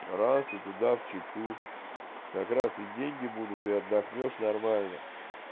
разве туда в читу как раз и деньги будут и отдохнёшь нормально